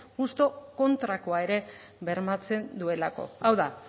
justu kontrakoa ere bermatzen duelako hau da